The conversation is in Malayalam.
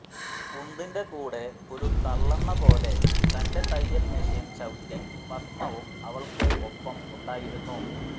ഉന്തിന്റെ കൂടെ ഒരു തള്ളെന്ന പോലെ തന്റെ തയ്യൽ മെഷിൻ ചവിട്ടി പത്മവും അവൾക്ക് ഒപ്പം ഉണ്ടായിരുന്നു